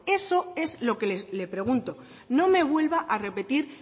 eso es lo que le pregunto no me vuelva a repetir